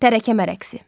Tərəkəmə rəqsi.